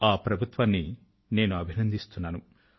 ఆ ప్రభుత్వాన్ని నేను అభినందిస్తున్నాను